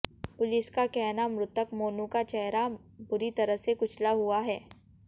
police का कहना मृतक मोनू का चैहरा बुरी तरह से कुचला हुआ है